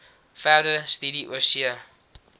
verdere studie oorsee